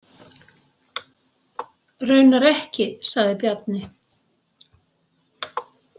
Raunar ekki, sagði Bjarni.